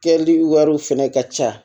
Kɛli wariw fɛnɛ ka ca